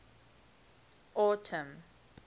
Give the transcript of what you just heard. autumn